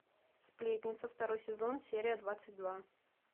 сплетница второй сезон серия двадцать два